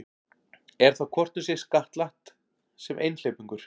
Er þá hvort um sig skattlagt sem einhleypingur.